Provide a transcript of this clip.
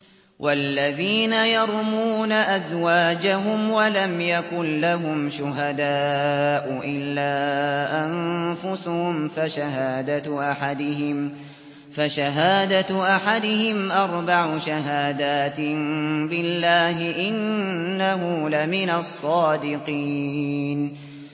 وَالَّذِينَ يَرْمُونَ أَزْوَاجَهُمْ وَلَمْ يَكُن لَّهُمْ شُهَدَاءُ إِلَّا أَنفُسُهُمْ فَشَهَادَةُ أَحَدِهِمْ أَرْبَعُ شَهَادَاتٍ بِاللَّهِ ۙ إِنَّهُ لَمِنَ الصَّادِقِينَ